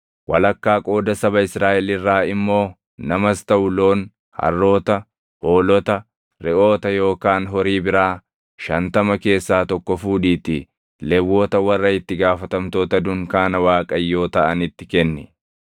Walakkaa qooda saba Israaʼel irraa immoo namas taʼu loon, harroota, hoolota, reʼoota yookaan horii biraa shantama keessaa tokko fuudhiitii Lewwota warra itti gaafatamtoota dunkaana Waaqayyoo taʼanitti kenni.”